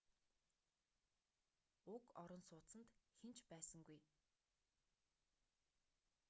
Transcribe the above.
уг орон сууцанд хэн ч байсангүй